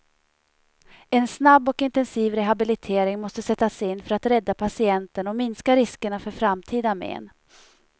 En snabb och intensiv rehabilitering måste sättas in för att rädda patienten och minska riskerna för framtida men.